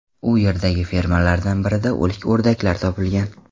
U yerdagi fermalardan biridan o‘lik o‘rdaklar topilgan.